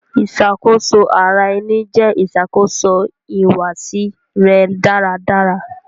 Iṣakoso ara ẹni jẹ iṣakoso ihuwasi rẹ daradara.